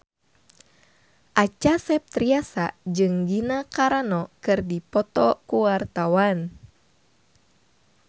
Acha Septriasa jeung Gina Carano keur dipoto ku wartawan